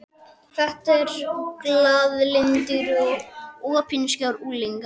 Þetta eru glaðlyndir og opinskáir unglingar.